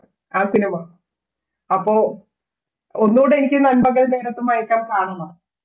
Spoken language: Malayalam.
ആ cinema അപ്പൊ ഒന്നുടെ എനിക്ക് നൻപകൽ നേരത്ത് മയക്കം കാണണം